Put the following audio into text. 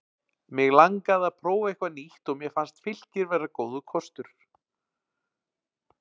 Mig langaði að prófa eitthvað nýtt og mér fannst Fylkir vera góður kostir.